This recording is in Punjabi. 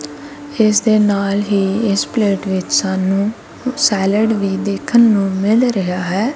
ਇਸ ਦੇ ਨਾਲ ਹੀ ਇਸ ਪਲੇਟ ਵਿੱਚ ਸਾਨੂੰ ਸੈਲਡ ਵੀ ਦੇਖਣ ਨੂੰ ਮਿਲ ਰਿਹਾ ਹੈ।